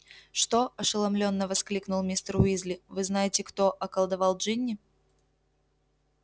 что ошеломлённо воскликнул мистер уизли вы-знаете-кто околдовал джинни